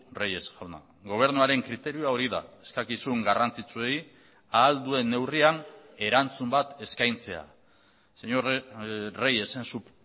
reyes jauna gobernuaren kriterioa hori da eskakizun garrantzitsuei ahal duen neurrian erantzun bat eskaintzea señor reyes en su